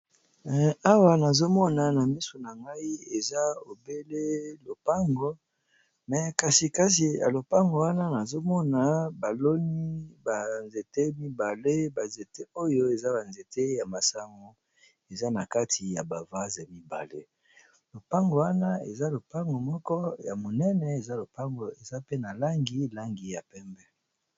Awa nazomona na misu na ngai eza ebele lopango me kasi kasi ya lopango wana nazomona baloni banzete mibale banzete oyo eza banzete ya masamo eza na kati ya bavase mibale lopango wana eza lopango moko ya monene eza lopango eza pe na langi langi ya pembe.